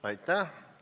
Aitäh!